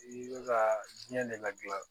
I bɛ ka jiyɛn de ladilan